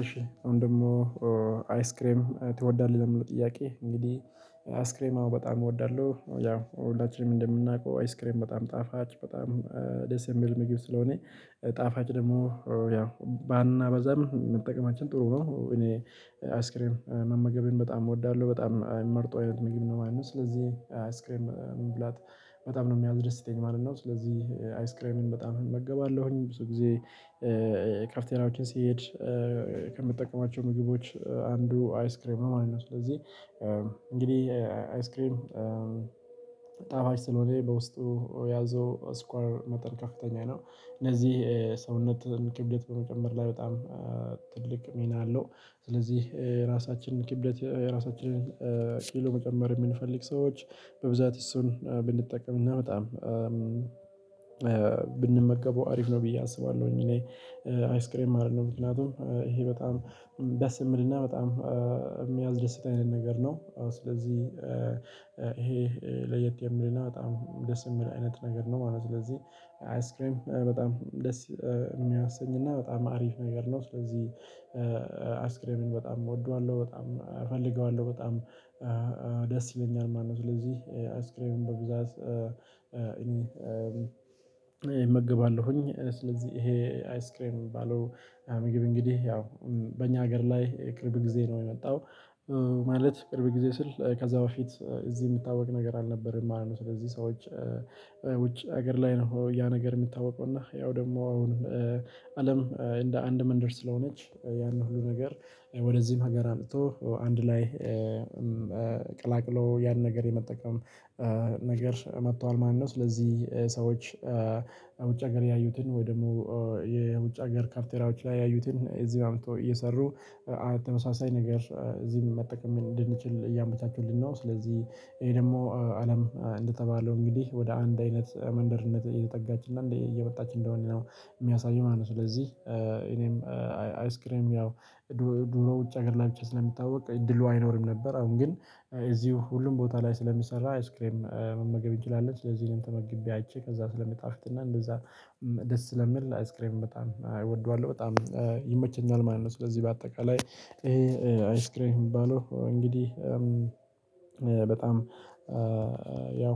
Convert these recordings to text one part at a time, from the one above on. እሺ አሁን ደግሞ አይስክሬም ትወዳለህ? ለሚለው ጥያቄ እንግዲህ አይስክሬም አሁን በጣም እወዳለሁ ያው ሁላችንም እንደምናውቀው አይስክሬም በጣም ጣፋጭ በጣም ደስ የሚል ምግብ ስለሆነ ጣፋጭ ደግሞ ያው ባናበዛም መጠቀማችን ጥሩ ነው። እኔ አይስክሬም መመገብን በጣም እወዳለሁ በጣም አይመርጠው አይነት ምግብ ነው የማነው ስለዚህ አስክሬም መብላት በጣም ነው የሚያዝደስተኝ ማለት ነው። ስለዚህ አይስ ክሬምን በጣም እመገባለሁኝ ብዙ ጊዜ ካፍተሬያዎችን ሲሄድ ከምትጠቀማቸው ምግቦች አንዱ አይስክሬም ነው ማለት ነው። ስለዚህ እንግዲህ አይስክሪም ጣፋጭ ስለሆነ በውስጡ ያዘው ስኳር መጠን ከፍተኛ ነው እነዚህ ሰውነትን ክብደት በመጨመር ላይ በጣም ትልቅ ሚና አለው። ስለዚህ የራሳችንን ክብደት የራሳችንን ኪሎ መጨመር የምንፈልግ ሰዎች በብዛት እሱን ብንጠቀምና በጣም ብንመገበው አሪፍ ነው ብዬ አስባለሁኝ። እኔ አይስክሬም አይደለም ምክንያቱም ይሄ በጣም ደስ የሚልና በጣም የሚያስደስት አይነት ነገር ነው። አዎ ስለዚህ ይሄ ለየት የምልና በጣም ደስ የምል አይነት ነገር ነው ማለት ነው። ስለዚህ አይስክሬም በጣም ደስ የሚያሰኝና በጣም አሪፍ ነገር ነው ስለዚህ አይስክሬምን በጣም እወደዋለሁ በጣም እፈልገዋለሁ በጣም ደስ ይለኛል ማለት ነው። ስለዚህ አይስክሬን በብዛት እኔ እመግባለሁኝ ስለዚህ ይሄ አይስክሬም እሚባለው ምግብ እንግዲህ ያው በእኛ ሀገር ላይ ቅርብ ጊዜ ነው የመጣው። ማለት ቅርብ ጊዜ ስል ከዛ በፊት እዚህ የምታወቅ ነገር አልነበረም ማለት ነው። ስለዚህ ሰዎች ውጭ ሀገር ላይ ነው ያ ነገር የሚታወቀው እና ያው ደግሞ አሁን አለም እንደ አንድ መንደር ስለሆነች ያንን ሁሉ ነገር ወደዚህም ሀገር አልጥቶ አንድ ላይ ቀላቅሎ ያን ነገር የመጠቀም ነገር መጥቷል። ማለት ነው ስለዚህ ሰዎች ውጭ ሀገር ያዩትን ወይ ደግሞ የውጭ ሀገር ካፍቴሪያዎች ላይ ያዩትን እዚህ በአምጥቶ እየሰሩ ተመሳሳይ ነገር እዚህም መጠቀም እንድንችል እያመቻቹልን ነው። ስለዚህ ይሄ ደግሞ አለም እንደተባለው እንግዲህ ወደ አንድ አይነት መንደርነት እየተጠጋችና እየመጣች እንደሆነ ነው የሚያሳየው ማለት ነው። ስለዚህ እኔም አይስክሬም ያው ድሮ ውጭ ሀገር ላይ ብቻ ስለሚታወቅ እድሉ አይኖርም ነበር አሁን ግን እዚሁ ሁሉም ቦታ ላይ ስለሚሰራ አይስክሬም መመገብ እንችላለን። ለዚህ ተመግቤ አይቼ ከዛ ስለሚጣፍጥና እንደዛ ደስ ስለሚል አይስክሬምን በጣም እወደዋለሁ በጣም መመገብ እንችላለን ለዚህ ተመግቤ አይቼ ከዛ ስለሚጣፍጥና እንደዛ ደስ ስለሚል ላይክ ስክሪን በጣም እወደዋለሁ። በጣም በጣም ያው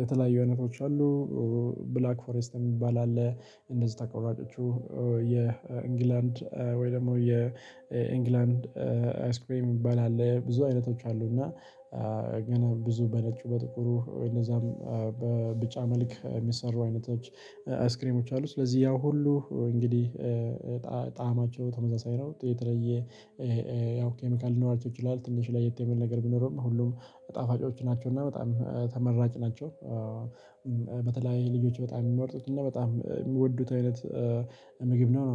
የተለያዩ አይነቶች አሉ። ብላክ ፎረስት የሚባል አለ። እንደዚህ ተቆራጮቹ የእንግላንድ ወይ ደግሞ የእንግላንድ አይስክሬም እንባላለን ብዙ አይነቶች አሉ እና ግን ብዙ በነጩ በጥቁሩ እንደዛም በብጫ መልክ የሚሰሩ አይነቶች አስክሬሞች አሉ። ስለዚህ ያ ሁሉ እንግዲህ ጣዕማቸው ተመሳሳይ ነው የተለየ ያው ኬሚካል ሊኖራቸው ይችላል ትንሽ ለየት ያለ ነገር ቢኖረውም ሁሉም ጣፋጮች ናቸው እና በጣም ተመራጭ ናቸው። በተለይ ልጆች በጣም የሚመርጡት እና በጣም የሚወዱት አይነት ምግብ ነው።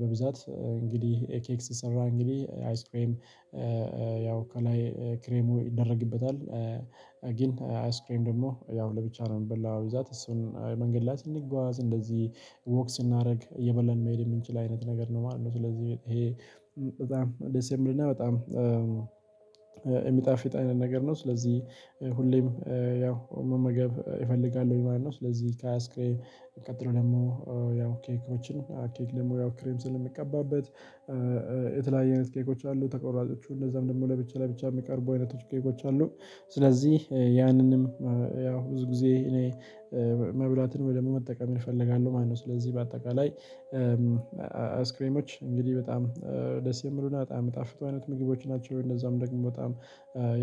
በብዛት እንግዲህ ኤኬክስ ሰራ እንግዲህ አይስክሬም ያው ከላይ ክሬሙ ይደረግበታል። ግን አይስክሬም ደግሞ ያው ለብቻ ነው የሚበላው እዛ እሱን መንገድ ላይ ስንጓዝ እንደዚህ ወክ ስናደርግ እየበላን መሄድ የምንችል አይነት ነገር ነው ማለት ነው። ስለዚህ ይሄ በጣም ደስ የሚልና በጣም የሚጣፍጥ አይነት ነገር ነው ስለዚህ ሁሌም ያው መመገብ እፈልጋለሁኝ ማለት ነው። ስለዚህ ከሃያ ስክሬ ቀጥሎ ደግሞ ያው ኬኮችን ኬክ ደግሞ ያው ክሬም ስለሚቀባበት የተለያየ አይነት ኬኮች አሉ ተቆራጮቹ እንደዛም ደግሞ ለብቻ ላይ ብቻ የሚቀርቡ አይነቶች ኬኮች አሉ። ስለዚህ ያንንም ያው ብዙ ጊዜ እኔ መብላትን ወደ መጠቀም እፈልጋለሁ ማለት ነው። ስለዚህ በአጠቃላይ አይስክሬሞች እንግዲህ በጣም ደስ የምሉና በጣም ምጣፍጥ አይነት ምግቦች ናቸው። እንደዛም ደግሞ በጣም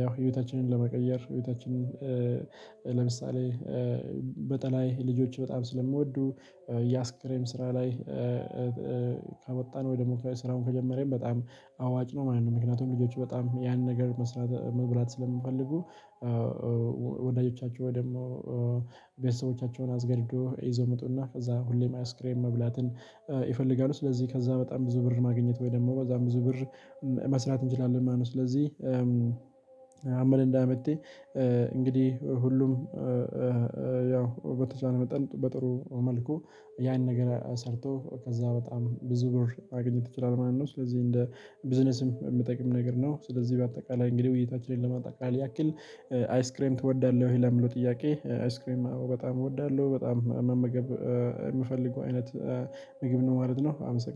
ያው ህይወታችንን ለመቀየር ህይወታችንን ለምሳሌ በተለይ ልጆች በጣም ስለምወዱ ያስክሬም ስራ ላይ ካመጣን ወይ ደግሞ ከስራውን ከጀመረን በጣም አዋጭ ነው ማለት ነው። ምክንያቱም ልጆቹ በጣም ያን ነገር መብላት ስለምፈልጉ። ወላጆቻቸው ወይም ደግሞ ቤተሰቦቻቸውን አስገድዶ ይዘው ምጡና ከዛ ሁሌም አይስክሬም መብላትን ይፈልጋሉ ስለዚህ ከዛ በጣም ብዙ ብር ማግኘት ወይ ደግሞ በዛም ብዙ ብር መስራት እንችላለን። ማለት ነው ስለዚህ አምል እንዳመጥኩኝ እንግዲህ ሁሉም ያው በተቻለ መጠን በጥሩ መልኩ ያን ነገር ሰርቶ ከዛ በጣም ብዙ ብር ማግኘት ይችላል ማለት ነው። ስለዚህ እንደ ቢዝነስም የሚጠቅም ነገር ነው። ስለዚህ በአጠቃላይ እንግዲህ እይታችንን ለማጣቃል ያክል አይስክሬም እወዳለሁ። ይሄ ለምለው ጥያቄ አይስክሬም አዎ በጣም እወዳለሁ በጣም መመገብ የምፈልገው አይነት ምግብ ነው ማለት ነው። አመሰግናለሁ